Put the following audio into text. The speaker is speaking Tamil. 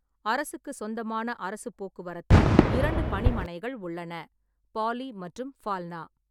அரசுக்குச் சொந்தமான அரசுப் போக்குவரத்தில் இரண்டு பணிமனைகள் உள்ளன: பாலி மற்றும் ஃபால்னா.